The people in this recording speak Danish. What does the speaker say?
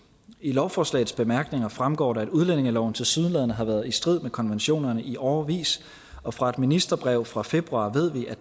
lovforslagets bemærkninger fremgår det at udlændingeloven tilsyneladende har været i strid med konventionerne i årevis og fra et ministerbrev fra februar ved vi at